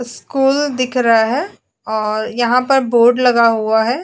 School दिख रहा है यहां पर बोर्ड लगा हुआ है।